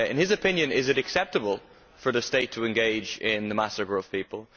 In his opinion, is it acceptable for the state to engage in the massacre of people?